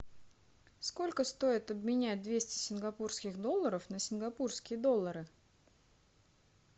сколько стоит обменять двести сингапурских долларов на сингапурские доллары